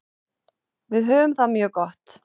Við höfum það mjög gott.